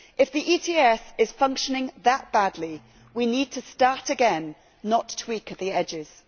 If the ETS is functioning that badly, we need to start again, not tweak at the edges.